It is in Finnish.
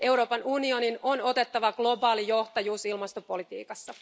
Euroopan unionin on otettava globaali johtajuus ilmastopolitiikassa.